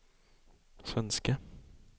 svenske